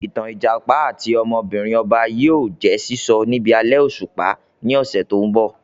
Ìtàn Ìjàpá àti ọmọbìnrin ọba yìí ó jẹ̀ sísọ níbi alẹ́ òṣùpá ni ọ̀sẹ̀ tòun bọ̀